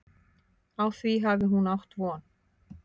Á því hafi hún átt von.